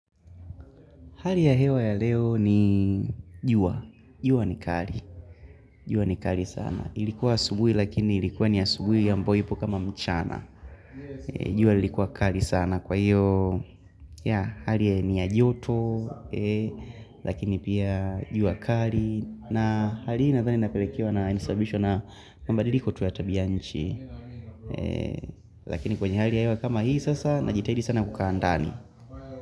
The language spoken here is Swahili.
Hali ya hewa ya leo ni jua. Jua ni kali. Jua ni kari sana. Ilikuwa asubuhi lakini ilikuwa ni asubuhi ambayobipo kama mchana. Jua likuwa kali sana kwa hiyo. Ya hali ya ni ya joto. Lakini pia jua kali. Na hali nathani inapelekiwa na insababishwa na mabadiliko tu ya tabianchi. Lakini kwenye hali ya hewa kama hii sasa na jitahidi sana kukaa ndani.